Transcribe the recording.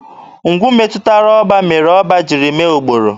Ngwu metụrụ ọba, mere ọba jiri mee ụkpọrọ.